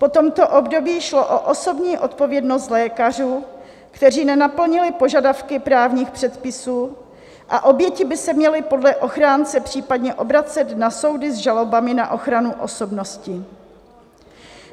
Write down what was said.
Po tomto období šlo o osobní odpovědnost lékařů, kteří nenaplnili požadavky právních předpisů, a oběti by se měly podle ochránce případně obracet na soudy s žalobami na ochranu osobnosti.